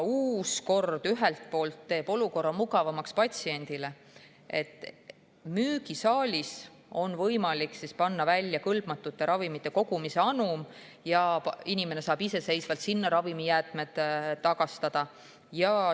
Uus kord teeb ühelt poolt olukorra mugavamaks patsiendile, sest müügisaalis on võimalik panna välja kõlbmatute ravimite kogumise anum ja inimene saab iseseisvalt sinna ravimijäätmed tagastada.